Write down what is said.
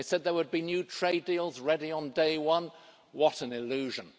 They said there would be new trade deals ready on day one what an illusion.